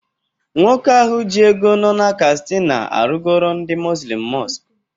Nwoke ahụ ji ego nọ na kastina arụgoro ndị muzlim mọsk